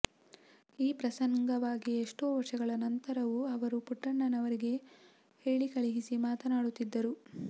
ಈ ಪ್ರಸಂಗವಾಗಿ ಎಷ್ಟೋ ವರ್ಷಗಳ ನಂತರವೂ ಅವರು ಪುಟ್ಟಣ್ಣನವರಿಗೆ ಹೇಳಿಕಳುಹಿಸಿ ಮಾತನಾಡುತ್ತಿದ್ದರು